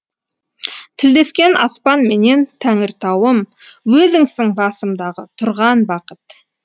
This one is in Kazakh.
тілдескен аспанменен тәңіртауым өзіңсің басымдағы тұрған бақыт